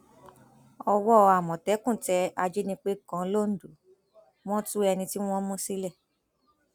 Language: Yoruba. owó àmọtẹkùn tẹ ajínigbé kan lọdọ wọn tu ẹni tí wọn mú sílẹ